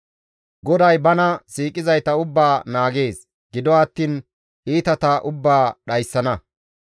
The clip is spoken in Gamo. GODAY bana siiqizayta ubbaa naagees; gido attiin iitata ubbaa dhayssana.